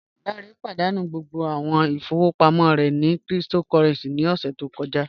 Lánré pádánú gbogbo awọn ìfọwọpamọ rẹ ni kírìtòkòrẹ̀ncì ní ọṣẹ̀ tó kọ̀jà